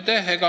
Aitäh!